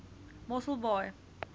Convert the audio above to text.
mosselbaai